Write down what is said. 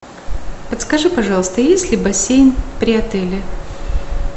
подскажи пожалуйста есть ли бассейн при отеле